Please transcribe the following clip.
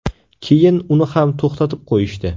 Keyin uni ham to‘xtatib qo‘yishdi.